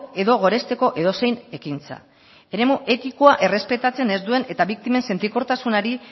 edo goresteko edozein ekintza eremu etikoa errespetatzen ez duen eta biktimen sentikortasunari